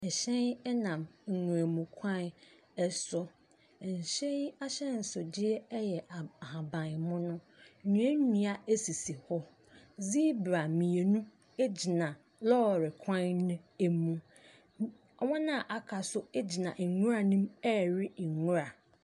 Ɛhyɛn nam nwuram kwan so. Ɛhyɛn yi ahyɛnsodeɛ aha ahabanmono. Nnua nnua sisi hɔ. Zibra mmienu gyina lɔɔre kwn no mu. Wɔn a aka so gyina nwura no mu rewe nwura.